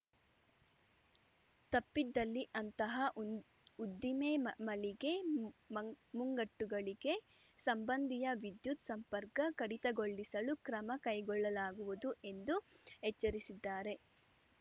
ತಪ್ಪಿದಲ್ಲಿ ಅಂತಹ ಉ ಉದ್ದಿಮೆ ಮ ಮಳಿಗೆ ಮಂಗ್ ಮುಂಗಟ್ಟುಗಳಿಗೆ ಸಂಬಂಧಿಯ ವಿದ್ಯುತ್‌ ಸಂಪರ್ಕ ಕಡಿತಗೊಳ್ಳಿಸಲು ಕ್ರಮ ಕೈಗೊಳ್ಳಲಾಗುವುದು ಎಂದು ಎಚ್ಚರಿಸಿದ್ದಾರೆ